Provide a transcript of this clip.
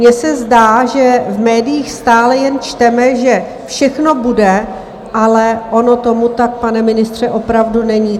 Mně se zdá, že v médiích stále jen čteme, že všechno bude, ale ono tomu tak, pane ministře, opravdu není.